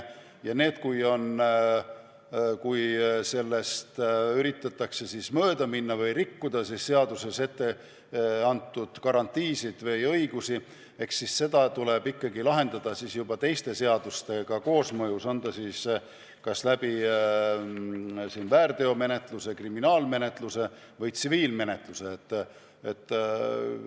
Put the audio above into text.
Ja kui sellest üritatakse mööda minna või rikkuda seaduses etteantud garantiisid või õigusi, eks siis seda tuleb ikkagi lahendada teiste seadustega koosmõjus, kas väärteomenetluse, kriminaalmenetluse või tsiviilmenetluse kaudu.